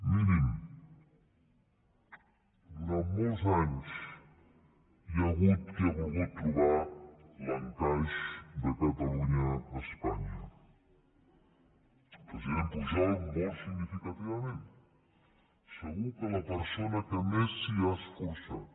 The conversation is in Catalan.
mirin durant molts anys hi ha hagut qui ha volgut trobar l’encaix de catalunya a espanya el president pujol molt significativament segur que és la persona que més s’hi ha esforçat